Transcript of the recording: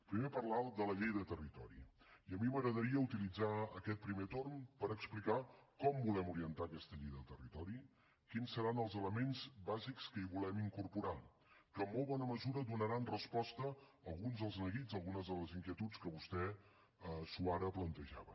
primer ha parlat de la llei de territori i a mi m’agradaria utilitzar aquest primer torn per explicar com volem orientar aquesta llei de territori quins seran els elements bàsics que hi volem incorporar que en molt bona mesura donaran resposta a alguns dels neguits a algunes de les inquietuds que vostè suara plantejava